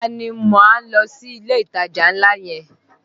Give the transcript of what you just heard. Ọ̀la ni a máa lọ sí ilé ìtajà ńlá yẹn